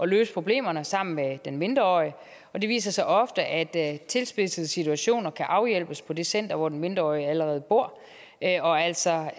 løse problemerne sammen med den mindreårige og det viser sig ofte at tilspidsede situationer kan afhjælpes på det center hvor den mindreårige allerede bor og altså